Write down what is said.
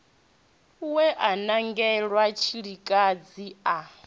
we a nangelwa tshilikadzi a